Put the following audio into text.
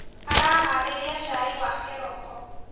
Araharĩrĩa cai wa kĩroko